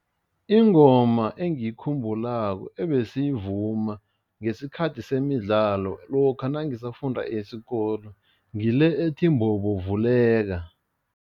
Ingoma engiyikhumbulako ebesiyivuma ngesikhathi semidlalo lokha nangisafunda isikolo ngile ethi mbobo vuleka.